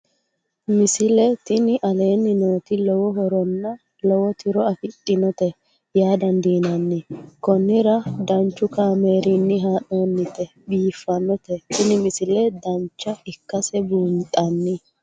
misile tini aleenni nooti lowo horonna lowo tiro afidhinote yaa dandiinanni konnira danchu kaameerinni haa'noonnite biiffannote tini misile dancha ikkase buunxanni